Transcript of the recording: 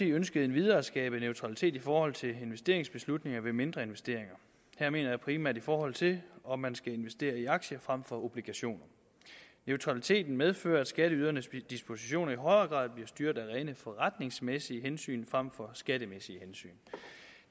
ønskede endvidere at skabe neutralitet i forhold til investeringsbeslutninger ved mindre investeringer her mener jeg primært i forhold til om man skal investere i aktier frem for obligationer neutraliteten medfører at skatteydernes dispositioner i højere grad bliver styret af rene forretningsmæssige hensyn frem for skattemæssige hensyn